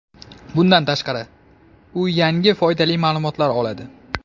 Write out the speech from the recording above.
Bundan tashqari u yangi foydali ma’lumotlar oladi.